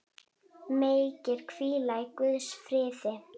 Megirðu hvíla í Guðs friði.